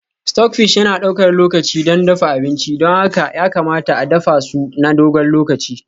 Stockfish yana ɗaukar lokaci don dafa abinci, don haka ya kamata a dafa su na dogon lokaci.